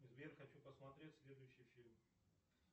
сбер хочу посмотреть следующий фильм